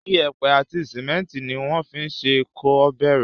Iyẹ̀pẹ̀ àti sìmẹ́ntì ni wọ́n fín ṣe kó kéré.